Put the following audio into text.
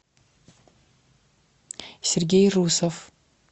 сергей русов